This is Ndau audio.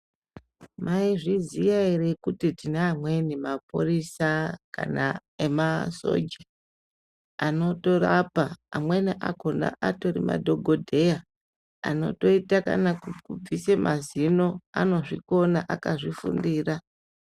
Maizviziya ere kuti tine amweni mapurisa kana emasoja anotorapa amweni akhona atori madhokodheya Anotoite kana kukubvise mazino anozvikona akazvifundira.